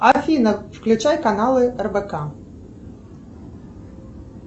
афина включай каналы рбк